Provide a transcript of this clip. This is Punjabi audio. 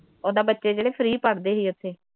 ਉਹਦਾ ਬੱਚੇ ਜਿਹੜੇ ਫਰੀ ਪੜ੍ਹਦੇ ਹੀ ਉੱਥੇ